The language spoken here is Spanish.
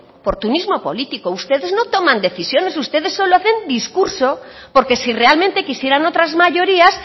oportunismo político ustedes no toman decisiones ustedes solo hacen discurso porque si realmente quisieran otras mayorías